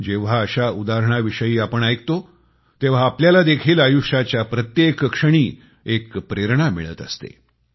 जेंव्हा अशा उदाहरणाविषयी आपण ऐकतो तेंव्हा आपल्याला देखील आयुष्याच्या प्रत्येक क्षणी एक प्रेरणा मिळत असते